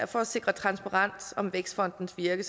for at sikre transparens om vækstfondens virke